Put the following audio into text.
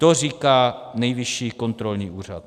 To říká Nejvyšší kontrolní úřad.